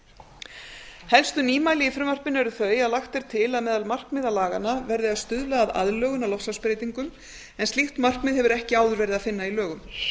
skeið helstu nýmæli í frumvarpinu eru þau að lagt er til að meðal markmiða laganna verði að stuðla að aðlögun að loftslagsbreytingum en slíkt markmið hefur ekki áður verið að finna að lögum